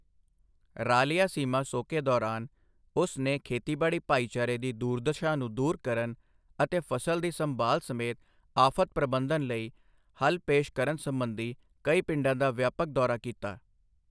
ਰਾਲਿਆਸੀਮਾ ਸੋਕੇ ਦੌਰਾਨ, ਉਸ ਨੇ ਖੇਤੀਬਾੜੀ ਭਾਈਚਾਰੇ ਦੀ ਦੁਰਦਸ਼ਾ ਨੂੰ ਦੂਰ ਕਰਨ ਅਤੇ ਫ਼ਸਲ ਦੀ ਸੰਭਾਲ ਸਮੇਤ ਆਫ਼ਤ ਪ੍ਰਬੰਧਨ ਲਈ ਹੱਲ ਪੇਸ਼ ਕਰਨ ਸੰਬੰਧੀ ਕਈ ਪਿੰਡਾਂ ਦਾ ਵਿਆਪਕ ਦੌਰਾ ਕੀਤਾ।